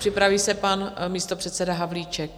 Připraví se pan místopředseda Havlíček.